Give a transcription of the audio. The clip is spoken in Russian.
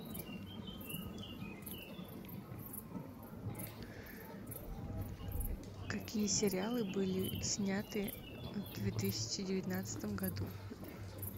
какие сериалы были сняты в две тысячи девятнадцатом году